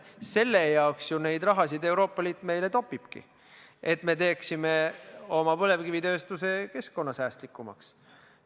Selle jaoks Euroopa Liit meile seda raha topibki, et me teeksime oma põlevkivitööstuse keskkonnasäästlikumaks.